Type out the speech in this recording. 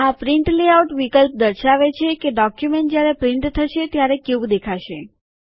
આ print layout વિકલ્પ દર્શાવે છે કે ડોક્યુમેન્ટ જ્યારે પ્રિન્ટ થશે ત્યારે કેવું દેખાશે